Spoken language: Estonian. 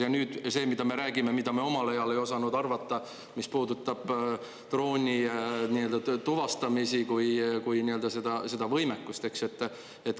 Ja nüüd see, mida me räägime, mida me omal ajal ei osanud arvata, mis puudutab droonituvastamist kui võimekust.